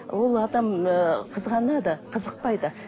ол адам ы қызғанады қызықпайды